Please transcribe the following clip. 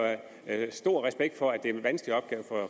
stor respekt for det det er en vanskelig opgave for